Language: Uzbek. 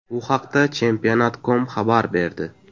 Bu haqda Championat.com xabar berdi .